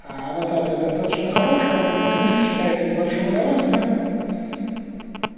аннотация достаточно хорошая книжка читается с большим удовольствием